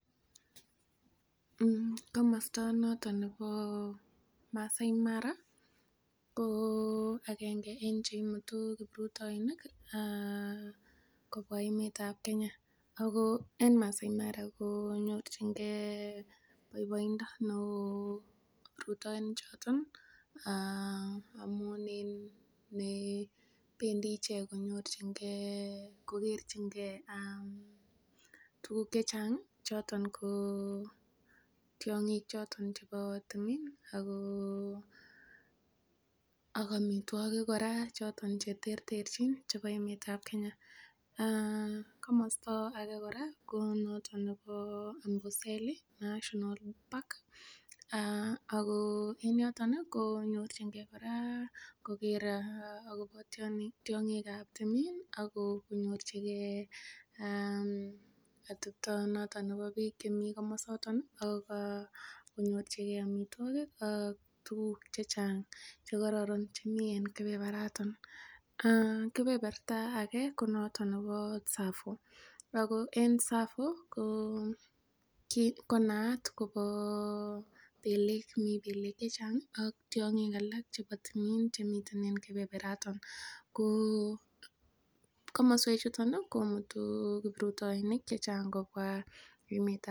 Komosta noton nebo Masai Mara ko agenge en che imutu kiprutoinik kobwa emetab Kenya. Ago en Masai Mara konyorjinge boiboindo neo kiprutoinik choto amun en nebendi ichek kogerchinge tuguk che chang choto ko tiong'ik choto chebo timin ak amitwogik kora choton che terterchin chebo emetab Kenya. Komosta age kora ko noto nebo Amboseli National Park ago en yoton konyorjinge kora koger agobo tiong'ik ab timin ak konyorjige atebta noton nebo biik chemi komosata ak konyorjige amitwogik ak tuguk che chang che kororon che mi en kebebaraton. Kebeberta age ko noton neboTsavo ago en Tsavo ko naat kobo beleek. Mi beleek che chang ak tiong'ik alak chebo timin chemiten en kebebaraton. Ko kooswek chuton komuto kiprutoinik chechang kobwa emetab Kenya.